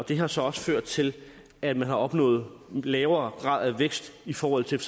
det har så også ført til at man har opnået lavere grad af vækst i forhold til